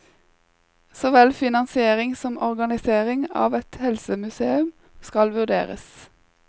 Så vel finansiering som organisering av et helsemuseum skal vurderes.